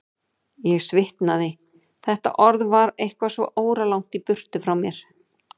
Ég svitnaði, þetta orð var eitthvað svo óralangt í burtu frá mér.